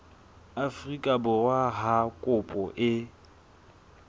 afrika borwa ha kopo e